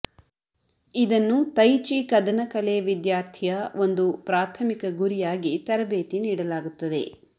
ಇದನ್ನು tai chi ಕದನ ಕಲೆಯ ವಿದ್ಯಾರ್ಥಿಯ ಒಂದು ಪ್ರಾಥಮಿಕ ಗುರಿಯಾಗಿ ತರಬೇತಿ ನೀಡಲಾಗುತ್ತದೆ